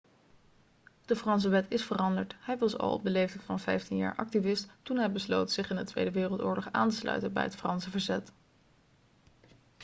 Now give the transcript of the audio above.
de franse wet is veranderd hij was al op de leeftijd van 15 jaar activist toen hij besloot zich in de tweede wereldoorlog aan te sluiten bij het franse verzet